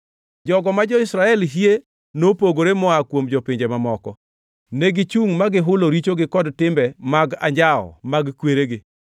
Jogo ma jo-Israel hie nopogore moa kuom jopinje mamoko. Negichungʼ ma gihulo richogi kod timbe mag anjawo mag kweregi.